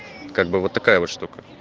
как бы вот такая вот штука